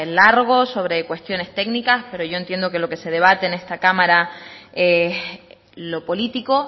largo sobre cuestiones técnicas pero yo entiendo que lo que se debate en esta cámara es lo político